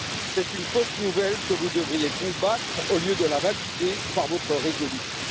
C'est une fausse nouvelle que vous devriez combattre au lieu de la valider par votre résolution.